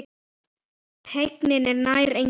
Teygnin er nær engin.